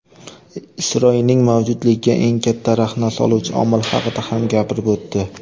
Isroilning mavjudligiga eng katta raxna soluvchi omil haqida ham gapirib o‘tdi.